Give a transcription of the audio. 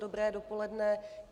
Dobré dopoledne.